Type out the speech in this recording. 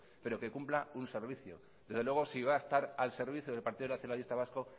pero que cumpla un servicio desde luego si va a estar al servicio del partido nacionalista vasco